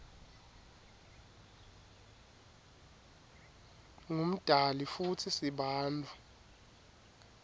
ngumdali futsi sibantfu